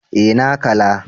Eh na kala